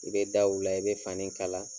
I bɛ da u la i bɛ fani kala.